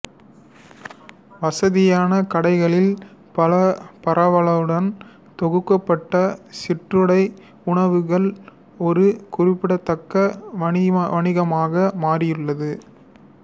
வசதியான கடைகளின் பரவலுடன் தொகுக்கப்பட்ட சிற்றுண்டி உணவுகள் ஒரு குறிப்பிடத்தக்க வணிகமாக மாறியுள்ளது